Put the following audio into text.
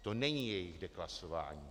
To není jejich deklasování.